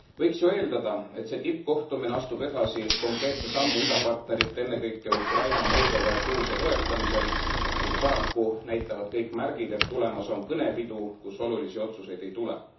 Võiks ju eeldada, et see tippkohtumine astub edasi konkreetse sammu idapartnerite, ennekõike Ukraina, Moldova ja Gruusia toetamisel, kuid paraku näitavad kõik märgid, et tulemas on kõnepidu, kus olulisi otsuseid ei tule.